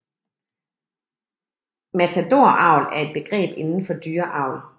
Matadoravl er et begreb indenfor dyreavl